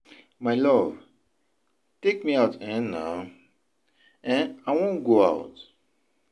My love take me out um naa, um I wan go out.